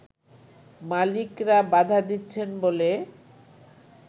মালিকরা বাধা দিচ্ছেন বলে